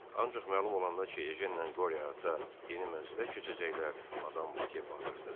Ancaq məlum olanda ki, ejenlə qore ata yeni mənzilə köçəcəklər, Madam Voke bağırdı.